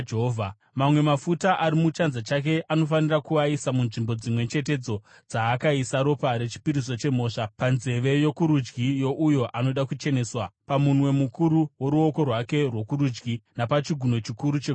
Mamwe mafuta ari muchanza chake anofanira kuaisa munzvimbo dzimwe chetedzo dzaakaisa ropa rechipiriso chemhosva panzeve yokurudyi youyo anoda kucheneswa, pamunwe mukuru woruoko rwake rwokurudyi napachigunwe chikuru chegumbo rake rokurudyi.